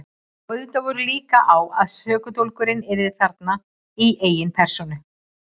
Og auðvitað voru líkur á að sökudólgurinn yrði þarna í eigin persónu.